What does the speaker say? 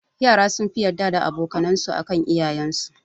Yara sunfi yarda da aboka nan su akan iyayen su